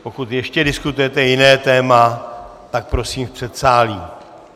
Pokud ještě diskutujete jiné téma, tak prosím v předsálí.